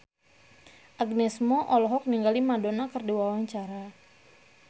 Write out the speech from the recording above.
Agnes Mo olohok ningali Madonna keur diwawancara